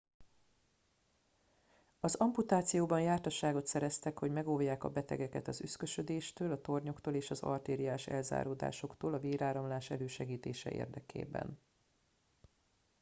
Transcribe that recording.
az amputációban jártasságot szereztek hogy megóvják a betegeket az üszkösödéstől a tornyoktól és az artériás elzáródásoktól a véráramlás elősegítése érdekében